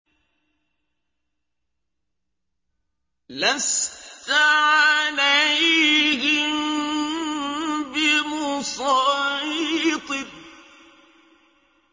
لَّسْتَ عَلَيْهِم بِمُصَيْطِرٍ